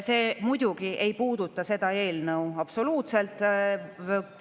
See muidugi ei puuduta absoluutselt seda eelnõu.